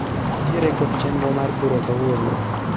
Atiere kod chenro mar bura kawuono